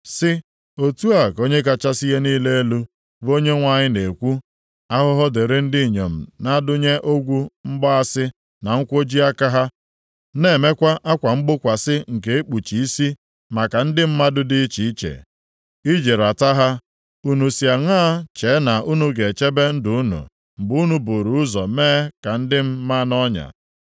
sị, ‘Otu a ka Onye kachasị ihe niile elu, bụ Onyenwe anyị na-ekwu, Ahụhụ dịrị ndị inyom na-adụnye ọgwụ mgbaasị na nkwoji aka ha na-emekwa akwa mgbokwasị nke ikpuchi isi maka ndị mmadụ dị iche iche, iji raata ha. Unu si aṅaa chee na unu ga-echebe ndụ unu mgbe unu buru ụzọ mee ka ndị m maa nʼọnya?